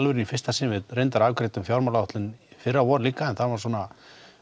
í fyrsta sinn við reyndar afgreiddum fjármálaáætlun í fyrravor líka en það var svona